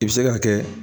I bɛ se k'a kɛ